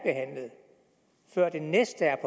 før det næste er